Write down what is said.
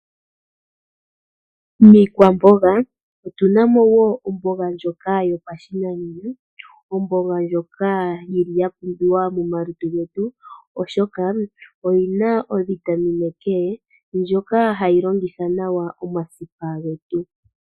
Miikwamboga otu na mo wo omboga ndjoka yo pashinanena, omboga ndjoka yi li ya pumbiwa mo malutu getu oshoka oyi na ovitamine K ndjoka ha yi longitha nawa omasipa ge tu.